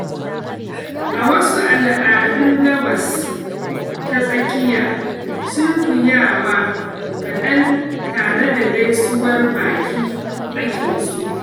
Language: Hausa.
A wasu al'adun Gabas ta Tsakiya, sunkuyawa kaɗan tare da gaisuwar baki ake so.